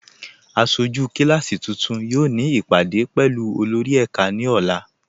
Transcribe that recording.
Aṣọjú kíláàsí tuntun yóò ni ipádé pẹ̀lú olórì ẹká ni ọ̀là.